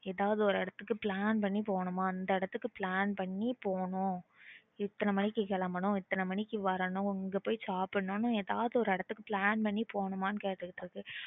ஏதாவது ஒரு இடத்துக்கு plan பண்ணி போகணுமாம் அந்த இடத்துக்கு plan பண்ணி போகணும் எத்தனை மணிக்கு கெளம்பணும் எத்தனை மணிக்கு வரணும் எங்க பொய் சாப்பிடணும் னு ஏதாவது ஒரு இடத்துக்கு plan பண்ணி போகனும்மா கேட்டுட்டு இருக்கு